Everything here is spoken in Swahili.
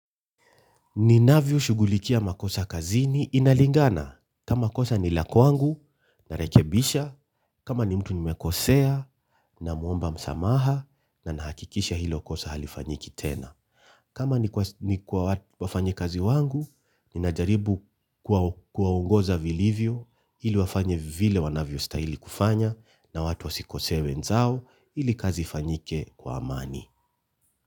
Ninavyoshugulikia makosa kazini inalingana. Kama kosa ni la kwangu, narekebisha, kama ni mtu nimekosea, namuomba msamaha, na nahakikisha hilo kosa halifanyiki tena. Kama ni kwa wafanyikazi wangu ninajaribu kuwaongoza vilivyo ili wafanye vile wanavyostahili kufanya na watu wasikosee wenzao ili kazi ifanyike kwa amani.